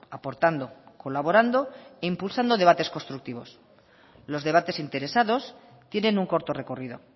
aportando colaborando e impulsando debates constructivos los debates interesados tienen un corto recorrido